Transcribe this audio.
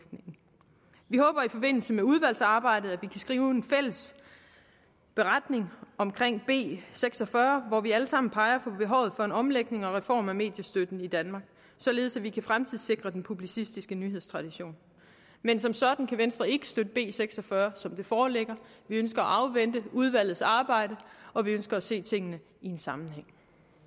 i forbindelse med udvalgsarbejdet kan skrive en fælles beretning omkring b seks og fyrre hvor vi alle sammen peger på behovet for en omlægning og reform af mediestøtten i danmark således at vi kan fremtidssikre den publicistiske nyhedstradition men som sådan kan venstre ikke støtte b seks og fyrre som det foreligger vi ønsker at afvente udvalgets arbejde og vi ønsker at se tingene i en sammenhæng